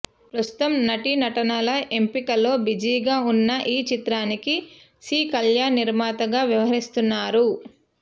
ప్రస్తుతం నటీనటుల ఎంపికలో బిజీగా ఉన్న ఈచిత్రానికి సి కల్యాణ్ నిర్మాతగా వ్యవహరిస్తున్నారు